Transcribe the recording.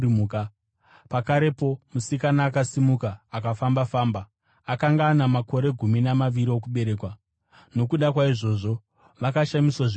Pakarepo musikana akasimuka akafamba-famba (akanga ana makore gumi namaviri okuberekwa). Nokuda kwaizvozvi, vakashamiswa zvikuru.